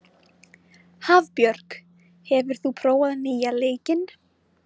Hafbjörg, hefur þú prófað nýja leikinn?